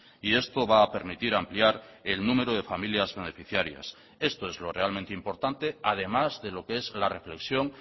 y esto va a permitir ampliar el número de familias beneficiarias esto es lo realmente importante además de lo que es la reflexión